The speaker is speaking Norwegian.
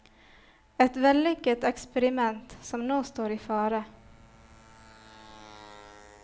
Et vellykket eksperiment som nå står i fare.